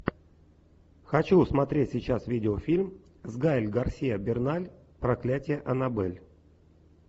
хочу смотреть сейчас видеофильм с гаэль гарсиа берналь проклятие аннабель